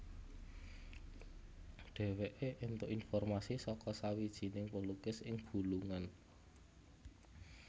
Dheweke entuk informasi saka sawijining pelukis ing Bulungan